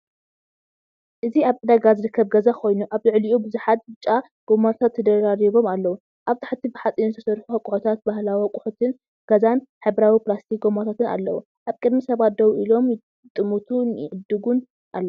እዚ ኣብ ዕዳጋ ዝርከብ ገዛ ኮይኑ፡ ኣብ ልዕሊኡ ብዙሓት ብጫ ጎማታት ተደራሪቦም ኣለዉ። ኣብ ታሕቲ ብሓጺን ዝተሰርሑ ኣቁሕታት፡ ባህላዊ ኣቑሑት ገዛን ሕብራዊ ፕላስቲክ ጎማታትን ኣለዉ። ኣብ ቅድሚት ሰባት ደው ኢሎም ይጥምቱን ይዕድጉን ኣለዉ።